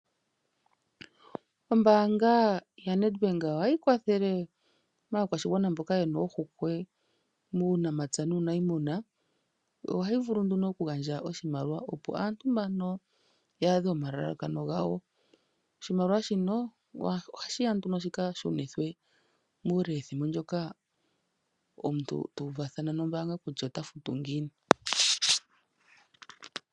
Ombaanga yaNedbank ohayi kwathele aakwashigwana mboka ye na ohokwe muunamapya nuuniimuna. Ohayi vulu nduno okugandja oshimaliwa opo aantu mbano ta adhe omalalakano gawo. Oshimaliwa shino ohadhi ya nduno shi ka shunithwe muulethimbo ndyoka omuntu ta uvathana nombaanga kutya ota futu ngiini.